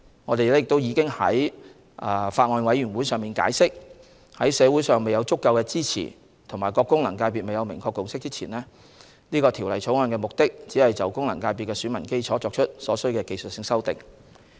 我們已於法案委員會上解釋，在社會上未有足夠支持和各功能界別未有明確共識前，《條例草案》的目的只限於在現有的功能界別選民基礎上作出所需的技術性修訂。